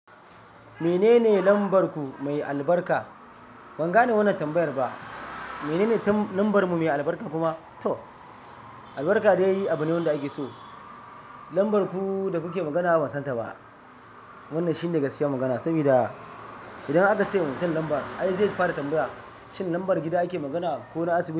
Menene lambar ku mai albarka? Ban gane wannan tambayar ba. Menene lambar mu mai albarka kuma to albarka dai yi abune wanda ake so. Lambar ku da kuke magana ban san ta ba. Wannan shi ne gaskiyar magana. Saboda idan aka ce ma mutun lambar ai zai fara tambaya shin lambar gida ake magana ko na asibiti.